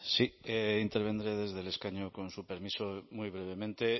sí intervendré desde el escaño con su permiso muy brevemente